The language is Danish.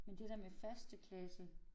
Men det der med første klasse